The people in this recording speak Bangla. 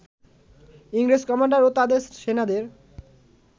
ইংরেজ কমান্ডার ও তাদের সেনাদের